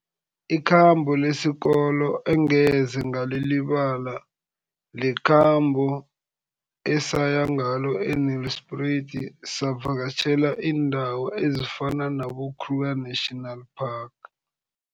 Ikhambo lesikolo engeze ngalilibala, likhambo esaya ngalo e-Nelspruit, savakatjhela iindawo ezifana nabo-Kruger National Park.